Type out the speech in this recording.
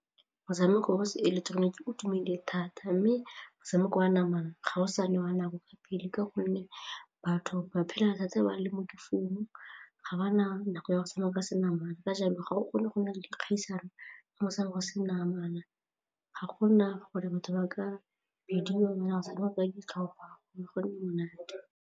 Motshameko o seileketeroniki itumele thata mme motshameko wa namana ga o sa newa nako ka pele ka gonne batho ba phela ntse ba le mo difounung ga ba nako go tshameka se namana ka jalo ga o kgone go nna le dikgaisano go se namana ga gona gore batho ba ka bidiwa go tshamekela ditlhopha go go nne monate.